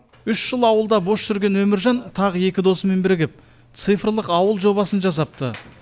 үш жыл ауылда бос жүрген өміржан тағы екі досымен бірігіп цифрлық ауыл жобасын жасапты